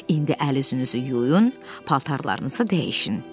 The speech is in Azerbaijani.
İndi əl-üzünüzü yuyun, paltarlarınızı dəyişin,